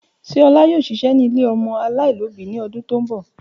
Ṣe Ola yoo ṣiṣẹ ni ile ọmọ alaialobi ni ọdun ti n bọ?